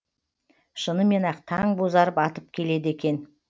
шынымен ақ таң бозарып атып келеді екен